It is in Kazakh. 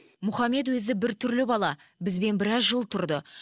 мұхаммед өзі біртүрлі бала бізбен біраз жыл тұрды